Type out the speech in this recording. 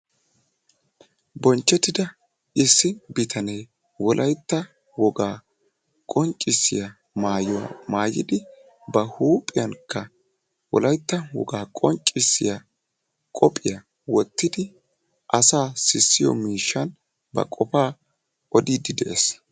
bonchetida issi bitanee wolaytta wogaa qonccisiya maayuwaa maayidi ba huuphiyankka wolaytta wogaa qonccissiyaa kophiya wottidi asaa sissiyoo miishshan ba qofaa odiiddi de"ees.